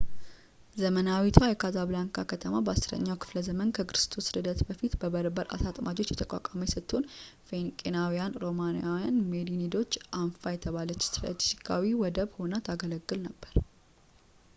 ዘመናዊቷ የካዛብላንካ ከተማ በ 10 ኛው ክ / ዘ ከክርስቶስ ልደት በፊት በበርበር አሳ አጥማጆች የተቋቋመች ስትሆን ፊንቄያውያን ፣ ሮማውያን እና ሜሬኒዶች አንፋ የተባለ ስትራቴጂካዊ ወደብ ሆና ታገለግል ነበር